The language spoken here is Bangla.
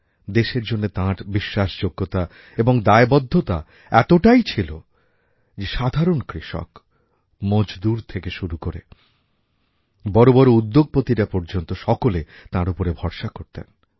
দেশের জন্যে তাঁর বিশ্বাসযোগ্যতা এবং দায়বদ্ধতা এতটাই ছিল যে সাধারণ কৃষক মজদুর থেকে শুরু করে বড় বড় উদ্যোগপতিরা পর্যন্ত সকলে তাঁর ওপরে ভরসাকরতেন